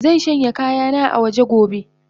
Zanshanya kayannan awaje gobe.